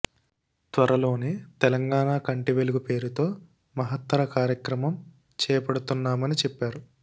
త్వరలోనే తెలంగాణ కంటి వెలుగు పేరుతో మహత్తర కార్యక్రమం చేపడుతున్నామని చెప్పారు